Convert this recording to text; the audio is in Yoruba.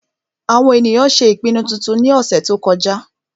àwọn ènìyàn ṣé ìpinnu titun ní ọ̀sẹ̀ tó kọjá